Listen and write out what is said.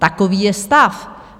Takový je stav.